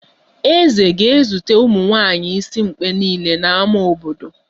Eze ga-ezute ụmụnwaanyi isimkpe niile n'ámá obodo